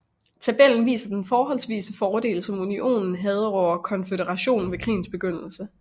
Tabellen viser den forholdsvise fordel som Unionen havde over Konføderationen ved krigens begyndelse